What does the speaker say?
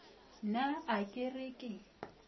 na a ke re ke